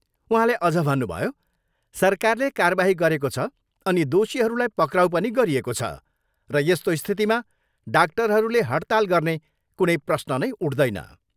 उहाँले अझ भन्नुभयो, सरकारले कारबाही गरेको छ अनि दोषीहरूलाई पक्राउ पनि गरिएको छ र यस्तो स्थितिमा डाक्टरहरूले हडताल गर्ने कुनै प्रश्न नै उठ्दैन।